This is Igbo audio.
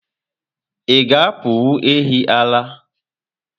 Ịga apanwu ehi ara?